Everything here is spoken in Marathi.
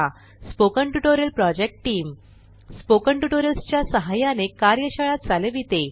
spoken tutorial project team spoken tutorials च्या सहाय्याने कार्यशाळा चालविते